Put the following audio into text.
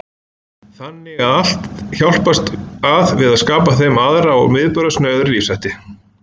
Þannig hafði allt hjálpast að við að skapa þeim aðra og viðburðasnauðari lífshætti.